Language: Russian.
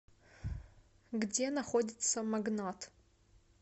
где находится магнат